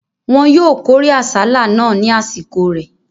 Wọn yóò kórè àsálà náà ní àsìkò rẹ̀.